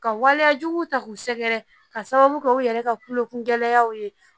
Ka waleyajugu ta k'u sɛgɛrɛ ka sababu kɛ u yɛrɛ ka kolokun gɛlɛyaw ye